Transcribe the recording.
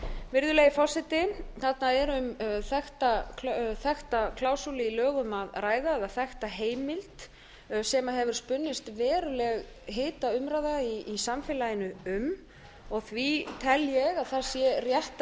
virðulegi forseti þarna er um þekkta klásúlu í lögum að ræða eða þekkta heimild sem hefur spunnist verulega hitaumræða í samfélaginu um og því tel ég að það sé rétt að